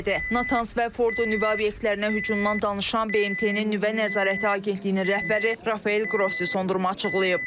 Natanz və Fordo nüvə obyektlərinə hücumdan danışan BMT-nin nüvə nəzarəti Agentliyinin rəhbəri Rafael Qrossi sondurma açıqlayıb.